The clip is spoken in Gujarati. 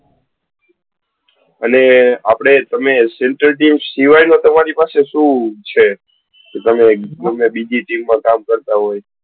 અને આપડે તમે central team સીવાય નો તમારી પાસે સુ છે કે તમે બીજા કોઈ team માં કામ કરતા હોય?